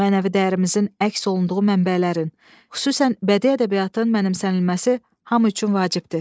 Mənəvi dəyərimizin əks olunduğu mənbələrin, xüsusən bədii ədəbiyyatın mənimsənilməsi hamı üçün vacibdir.